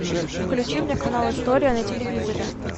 включи мне канал история на телевизоре